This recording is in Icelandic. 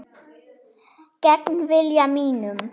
Gegn vilja mínum.